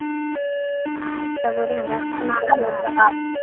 ಆಯ್ತ್ ತೂಗೋರಿ ಹಂಗಾರ .